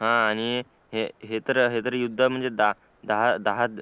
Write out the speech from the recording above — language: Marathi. हा आणि हे तर युद्ध दहा